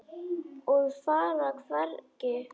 Og fara hvergi.